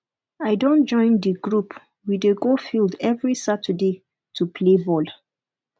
i don join di group we dey go field every saturday to play ball